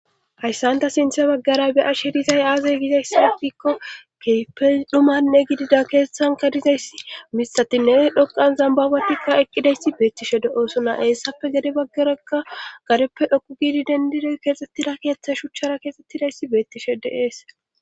Hayssanta sintha baggara be a shirizay aazay gizayssi gikko keyfe dhumanne gidida keeeththanka dizayssi mistatinne dhoqan zambabatikka eqqidayssi beettishe de oosunna eessappe gede baggaraka gareppe dhoku giidi dendiroy keexxettida keeththey shuchchara keexxettidaysi beettishe de7ees